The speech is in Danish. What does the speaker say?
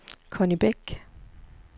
Conni Bæk